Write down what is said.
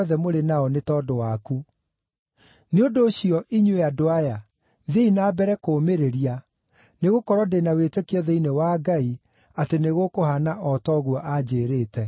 Nĩ ũndũ ũcio, inyuĩ andũ aya, thiĩi na mbere kũũmĩrĩria, nĩgũkorwo ndĩ na wĩtĩkio thĩinĩ wa Ngai atĩ nĩgũkũhaana o ta ũguo aanjĩĩrĩte.